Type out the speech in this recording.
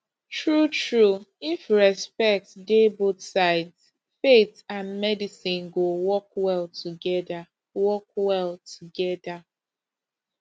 truetrue if respect dey both sides faith and medicine go work well together work well together